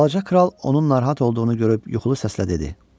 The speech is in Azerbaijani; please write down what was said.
Balaca kral onun narahat olduğunu görüb yuxulu səslə dedi: